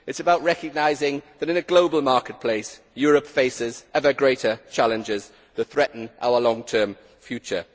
It is about recognising that, in a global marketplace, Europe faces ever greater challenges that threaten our long term future.